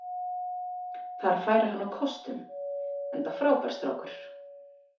Þar færi hann á kostum, enda frábær strákur.